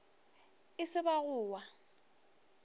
e se ba go wa